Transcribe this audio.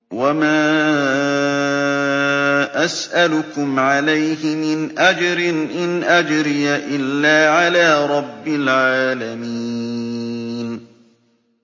وَمَا أَسْأَلُكُمْ عَلَيْهِ مِنْ أَجْرٍ ۖ إِنْ أَجْرِيَ إِلَّا عَلَىٰ رَبِّ الْعَالَمِينَ